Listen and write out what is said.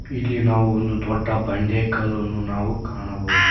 ಇಲ್ಲಿ ನಾವು ಒಂದು ದೊಡ್ಡ ಬಂಡೆ ಕಲ್ಲನ್ನು ನಾವು ಕಾಣಬಹುದು.